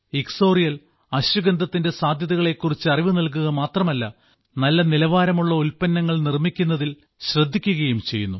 ഇക്സോറിയൽ അശ്വഗന്ധത്തിന്റെ സാധ്യതകളെ കുറിച്ച് അറിവ് നൽകുക മാത്രമല്ല നല്ല നിലവാരമുള്ള ഉൽപ്പന്നങ്ങൾ നിർമ്മിക്കുന്നതിൽ ശ്രദ്ധിക്കുകയും ചെയ്യുന്നു